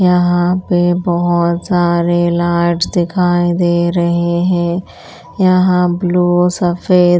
यहाँ पे बहुत सारे लाइट्स दिखाई दे रहे हैं यहाँ ब्लू सफेद --